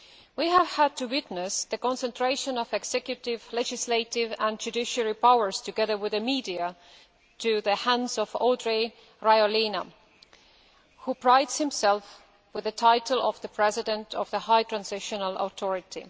We have had to witness the concentration of executive, legislative and judiciary powers, together with the media, in the hands of Andry Rajoelina, who prides himself on the title of the President of the High Transitional Authority.